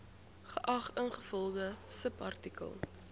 geag ingevolge subartikel